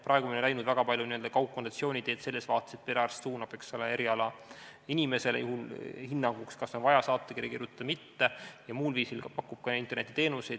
Praegu me oleme läinud väga palju kaugkonsultatsiooni teed selles vaates, et perearst suunab erialainimesele hinnanguks, kas on vaja saatekiri kirjutada või mitte, ja pakub ka muul viisil internetiteenuseid.